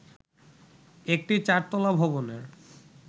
একটি চার তলা ভবনের